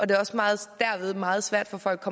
det også meget meget svært for folk